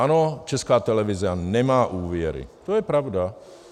Ano, Česká televize nemá úvěry, to je pravda.